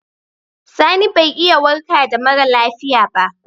Sani bai iya warka da mara lafiya ba.